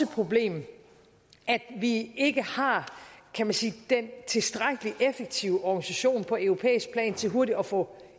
problem at vi ikke har den tilstrækkelig effektive organisation på europæisk plan til hurtigt at få